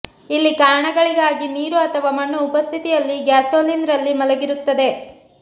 ಇಲ್ಲಿ ಕಾರಣಗಳಿಗಾಗಿ ನೀರು ಅಥವಾ ಮಣ್ಣು ಉಪಸ್ಥಿತಿಯಲ್ಲಿ ಗ್ಯಾಸೋಲಿನ್ ರಲ್ಲಿ ಮಲಗಿರುತ್ತದೆ